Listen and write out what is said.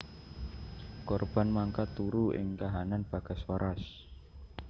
Korban mangkat turu ing kahanan bagas waras